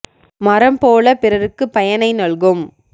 மரம்போலப் பிறருக்குப் பயனை நல்கும்